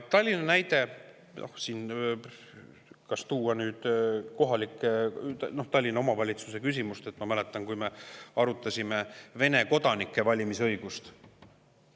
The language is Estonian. Tallinna näide, Tallinna kohaliku omavalitsuse küsimus – ma mäletan seda, kui me arutasime Vene kodanike valimisõigust.